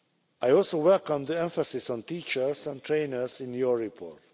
I also welcome the emphasis on teachers and trainers in your report.